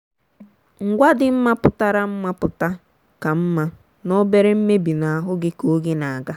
ngwa dị mma pụtara mma pụta ka mma na obere mmebi n'ahụ gị ka oge na-aga.